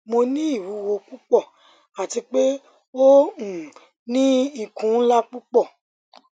mo ni iwuwo pupọ ati pe o um ni ikun nla pupọ